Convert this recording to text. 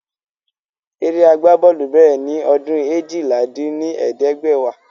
Eré agbá bọ́ọ̀lù bèrè ni ọdún eéjìlá dín ní ẹ̀ẹ́dẹ́gbẹ́wá